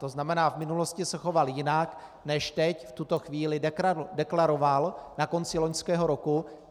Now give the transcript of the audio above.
To znamená, v minulosti se choval jinak, než teď v tuto chvíli deklaroval na konci loňského roku.